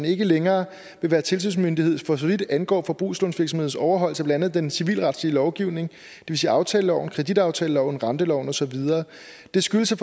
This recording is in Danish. ikke længere vil være tilsynsmyndighed for så vidt angår forbrugslånsvirksomheders overholdelse af blandt andet den civilretlige lovgivning det vil sige aftaleloven kreditaftaleloven renteloven og så videre det skyldes at